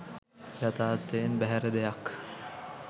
යථාර්ථයෙන් බැහැර දෙයක්